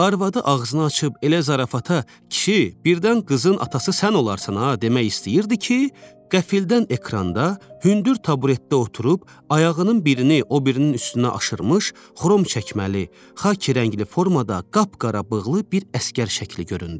Arvadı ağzını açıb elə zarafata, kişi, birdən qızın atası sən olarsan ha, demək istəyirdi ki, qəfildən ekranda hündür taburetdə oturub, ayağının birini o birinin üstünə aşırmış, xrom çəkməli, xaki rəngli formada qapqara bığlı bir əsgər şəkli göründü.